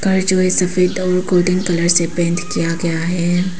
घर जो है सफेद और गोल्डन कलर से पेंट किया गया है।